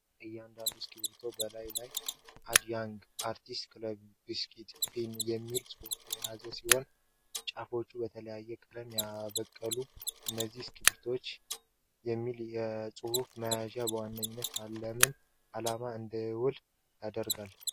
እያንዳንዱ እስክሪብቶ በላዩ ላይ "ADD Young Artist CALLIGRAPHY BRUSH PEN" የሚል ጽሑፍ የያዘ ሲሆን፣ ጫፎቻቸውም በተለያየ ቀለም ያበቃሉ። እነዚህ እስክሪብቶዎች "CALLIGRAPHY" የሚል ጽሑፍ መያዛቸው በዋነኛነት ለምን ዓላማ እንዲውሉ ያደርጋቸዋል?